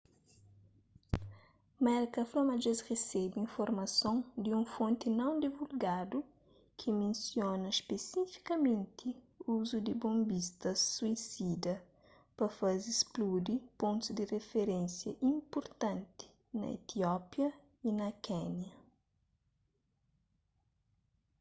merka fla ma dje-s resebe informason di un fonti non divulgadu ki mensiona spesifikamenti uzu di bonbistas suisida pa faze spludi pontus di rifirénsia inpurtanti na etiópia y na kénia